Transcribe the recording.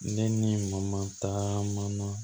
Ne ni taaman na